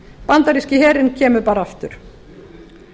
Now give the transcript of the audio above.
bandaríski herinn kemur bara aftur